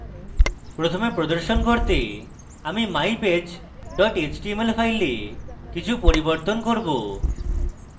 প্রথমে প্রদর্শন করতে আমি mypage html file কিছু পরিবর্তন করব